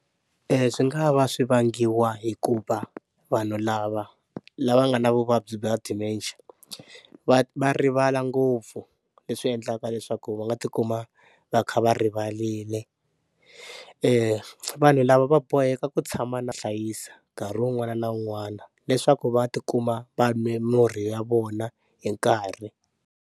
Swi nga va swi vangiwa hikuva vanhu lava lava nga na vuvabyi va Dementia va va rivala ngopfu leswi endlaka leswaku va nga tikuma va kha va rivalile, vanhu lava va boheka ku tshama na vahlayisi nkarhi wun'wana na wun'wana leswaku va tikuma va mimirhi ya vona hi nkarhi.